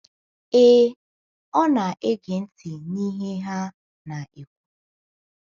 Ee, ọ na - ege ntị n’ihe ha na - ekwu.